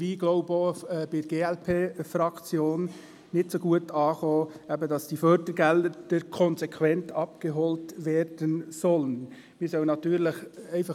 Ein Hauptgrund dafür ist, dass die Formulierung, die Fördergelder sollten «konsequent» abgeholt werden sollen, nicht so gut angekommen ist – wie auch bei der glp.